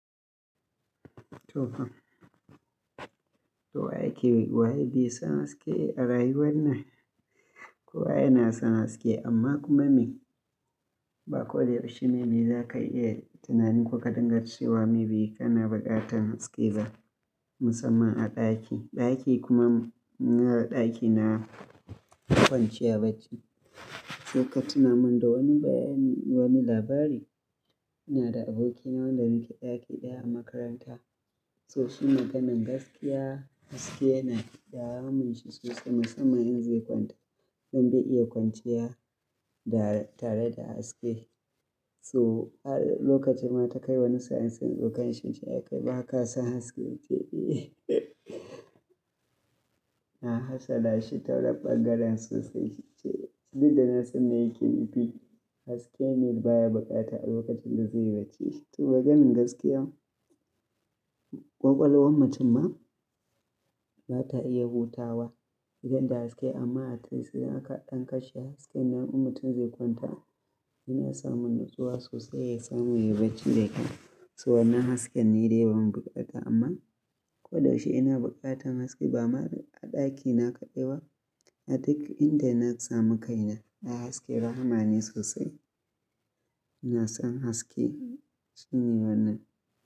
To fa. To wa yake, wa ye bai san haske a rayuwan nan? Ko wa yana san haske amma kuma me? Ba ko da yaushe ne me za ka iya tunanin ko ka dinga cewa maybe kana buƙatar haske ba, musamman a ɗaki. Ɗaki kuma ina da ɗaki na kwanciya bacci. Sai katuna min da wani bayani wani labari ina da aboki na wanda muke ɗaki ɗaya a makaranta. To shi maganan gaskiya haske yana damun shi sosai musamman in zai kwanta don bai iya kwanciya da tare da haske. Toh har lokaci ma ta kai wani sa'in Inta tsokanan shi nace Ai kai baka son haske Ya ce Eh na hatsalashi ta wannan ɓangaren sosai. Duk da na san me yake nufi haske ne baya buƙata a lokacin da zai yi bacci. To maganin gaskiya ƙwaƙwalwar mutum ma bata iya hutawa idan da haske amma at least idan aka ɗan kashe hasken nan in mutum zai kwanta yana samun natsuwa sosai ya samu ya yi bacci da kyau. To wannan hasken ne dai ban buƙata amma ko da yaushe ina buƙatar haske ba ma a ɗaki na kaɗai ba a duk inda na samu kaina Ai haske rahama sosai. Ina son haske shi ne wannan.